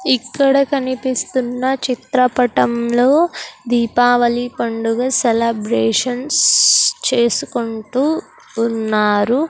ఇక్కడ కనిపిస్తున్న చిత్రపటంలో దీపావళి పండుగ సెలబ్రేషన్స్ చేసుకుంటూ ఉన్నారు.